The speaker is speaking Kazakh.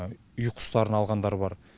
үй құстарын алғандар бар